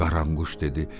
Qaranquş dedi.